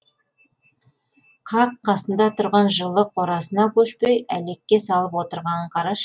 қақ қасында тұрған жылы қорасына көшпей әлекке салып отырғанын қарашы